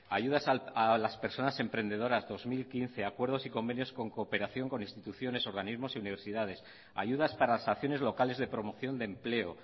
ayudas a las personas emprendedoras dos mil quince acuerdos y convenios con cooperación con instituciones organismos y universidades ayudas para las acciones locales de promoción de empleo